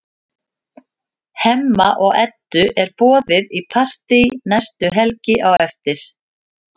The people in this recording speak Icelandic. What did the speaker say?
Hemma og Eddu er boðið í partí næstu helgi á eftir.